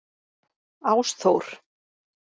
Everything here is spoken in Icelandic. Ásþór